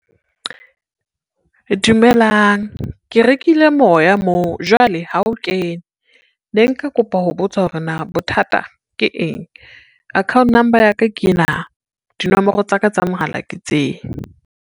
Dumelang ke rekile moya moo jwale ha o kena. Ne nka kopa ho botsa hore na bothata ke eng. Account number ya ka ke ena, dinomoro tsa ka tsa mohala ke tsena.